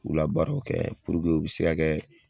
Ulabaaraw kɛ puruke u be se kɛ